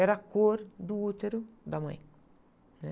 Era a cor do útero da mãe.